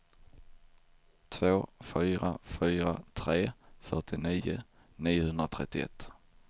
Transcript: två fyra fyra tre fyrtionio niohundratrettioett